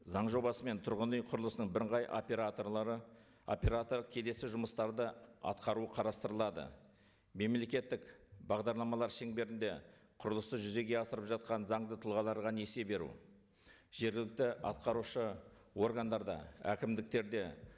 заң жобасымен тұрғын үй құрылысының бірыңғай операторлары оператор келесі жұмыстарды атқару қарастырылады мемлекеттік бағдарламалар шеңберінде құрылысты жүзеге асырып жатқан заңды тұлғаларға несие беру жергілікті атқарушы органдарда әкімдіктерде